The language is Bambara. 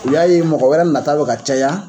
U y'a ye mɔgɔ wɛrɛ nata bɛ ka caya